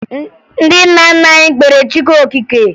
Ndị nna nna anyị kpeere Chukwu okike